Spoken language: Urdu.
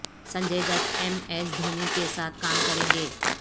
سنجے دت ایم ایس دھونی کے ساتھ کام کریں گے